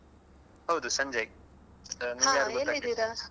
ಹೌದು ಸಂಜಯ್ ಆ .